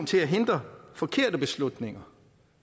til at hindre forkerte beslutninger